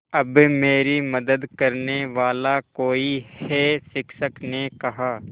अब मेरी मदद करने वाला कोई है शिक्षक ने कहा